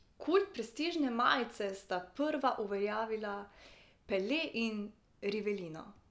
Kult prestižne majice sta prva uveljavila Pele in Rivelino.